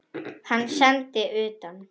Hann sendi ég utan.